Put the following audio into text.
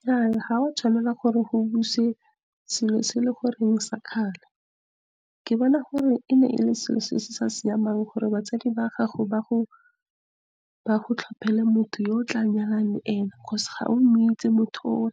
Nnyaa, ga o a tshwanela gore go busiwe selo se sa kgale. Ke bona gore e ne e le selo se se sa siamang gore batsadi ba gago ba go tlhopele motho yo o tla nyalang le ene, because ga o moitsi motho oo,